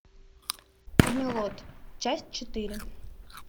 камелот часть четыре